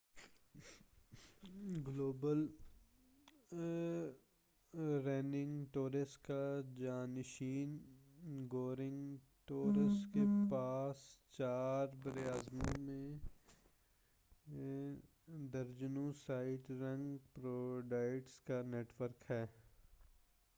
global running tors کا جانشین go running tors کے پاس چار براعظموں میں درجنوں سائٹ رننگ پرووائڈرس کا نیٹ ورک ہے